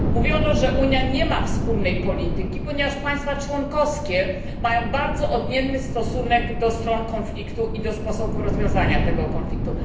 Mówiono, że Unia nie ma wspólnej polityki, ponieważ państwa członkowskie mają bardzo odmienny stosunek do stron konfliktu i do sposobów rozwiązania tych konfliktów.